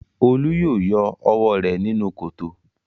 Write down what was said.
Olú yóò yọ ọwọ́ rẹ̀ nínú kòtò.